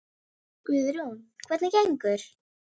En sé ég eftir þessu?